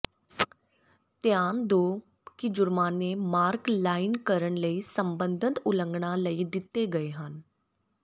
ਧਿਆਨ ਦਿਓ ਕਿ ਜੁਰਮਾਨੇ ਮਾਰਕ ਲਾਈਨ ਕਰਨ ਲਈ ਸਬੰਧਤ ਉਲੰਘਣਾ ਲਈ ਦਿੱਤੇ ਗਏ ਹਨ